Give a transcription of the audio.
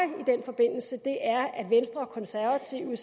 er at venstre og konservative